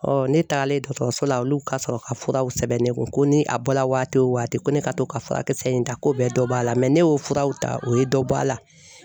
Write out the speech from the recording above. ne tagalen dɔgɔtɔrɔso la olu ka sɔrɔ ka furaw sɛbɛn ne kun ni a bɔla waati o waati ko ne ka to ka furakisɛ in ta ko bɛɛ dɔ b'a la ne y'o furaw ta o ye dɔ bɔ a la.